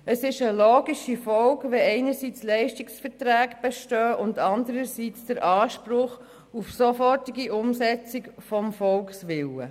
Das ist eine logische Folge, wenn einerseits Leistungsverträge bestehen und andererseits der Anspruch auf eine sofortige Umsetzung des Volkswillens besteht.